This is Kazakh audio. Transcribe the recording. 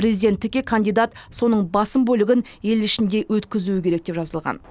президенттікке кандидат соның басым бөлігін ел ішінде өткізуі керек деп жазылған